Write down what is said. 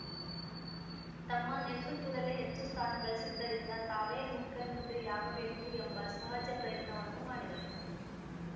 ತಮ್ಮ ನೇತೃತ್ವದಲ್ಲೇ ಹೆಚ್ಚು ಸ್ಥಾನ ಗಳಿಸಿದ್ದರಿಂದ ತಾವೇ ಮುಖ್ಯಮಂತ್ರಿಯಾಗಬೇಕು ಎಂಬ ಸಹಜ ಪ್ರಯತ್ನವನ್ನೂ ಮಾಡಿದರು